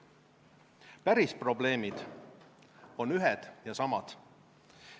Päris probleemid on ühed ja samad.